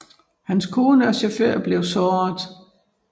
Hans kone og chauffør blev såret